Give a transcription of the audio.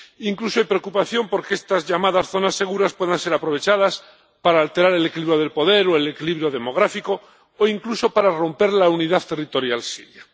Incluso hay preocupación por que estas llamadas zonas seguras pueden ser aprovechadas para alterar el equilibrio del poder o el equilibrio demográfico, o incluso, para romper la unidad territorial siria.